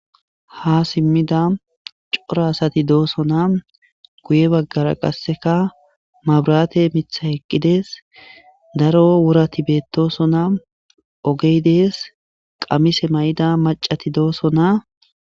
"Ha simida cora asati doosona, Guye baggara qassika mabrate mithay eqqides, Daro worati beetosona ogey dees, Qamise mayida maccati doosona."